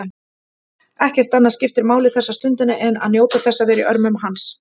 Ekkert annað skiptir máli þessa stundina en njóta þess að vera í örmum hans.